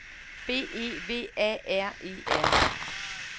B E V A R E R